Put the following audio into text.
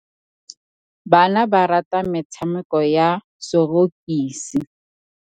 Bana ba rata metshamekô ya sorokisi.